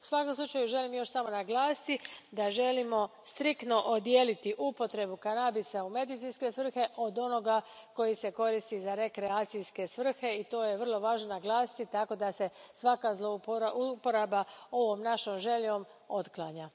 U svakom slučaju želim još samo naglasiti da želimo striktno odijeliti upotrebu kanabisa u medicinske svrhe od onoga koji se koristi za rekreacijske svrhe i to je vrlo važno naglasiti tako da se svaka zlouporaba ovom našom željom otklanja.